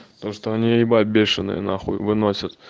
то что они ебать бешеные нахуй выносят